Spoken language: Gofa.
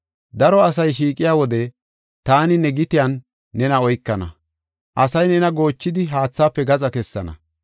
Daro asay shiiqiya wode taani ta gitiyan nena oykana; asay nena goochidi, haathaafe gaxa kessana.